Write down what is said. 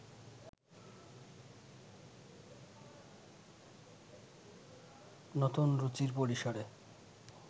নতুন রুচির পরিসরে